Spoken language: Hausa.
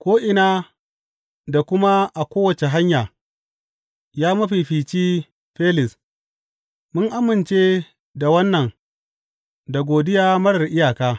Ko’ina da kuma a kowace hanya, ya mafifici Felis, mun amince da wannan da godiya marar iyaka.